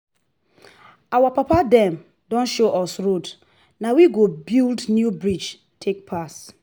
our papa dem don show us road na we go build new bridge take pass.